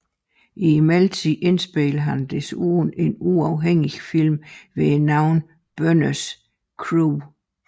I mellemtiden indspillede han desuden en uafhængig film ved navn Bønnes Crew